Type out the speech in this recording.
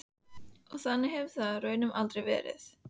Og þannig hefur það raunar aldrei verið.